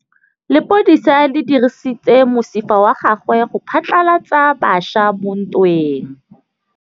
Lepodisa le dirisitse mosifa wa gagwe go phatlalatsa batšha mo ntweng.